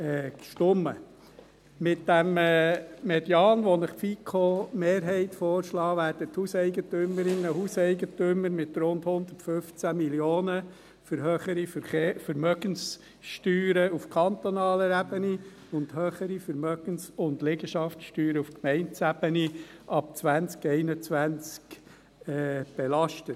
Mit diesem Median, der Ihnen die FiKo-Mehrheit vorschlägt, werden die Hauseigentümerinnen und Hauseigentümer mit rund 115 Mio. Franken für höhere Vermögenssteuern auf kantonaler Ebene und höhere Vermögens- und Liegenschaftssteuern auf Gemeindeebene ab 2021 belastet.